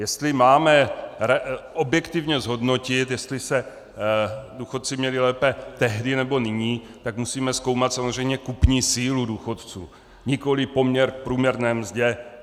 Jestli máme objektivně zhodnotit, jestli se důchodci měli lépe tehdy, nebo nyní, tak musíme zkoumat samozřejmě kupní sílu důchodců, nikoli poměr k průměrné mzdě.